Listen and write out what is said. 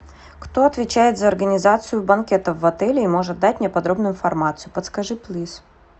кто отвечает за организацию банкетов в отеле и может дать мне подробную информацию подскажи плиз